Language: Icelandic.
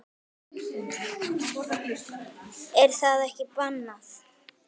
Er það ekki bannað?